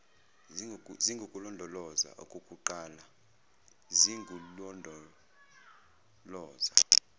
zingukulondoloza okukuqala zingululondoloza